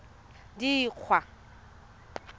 dikgwa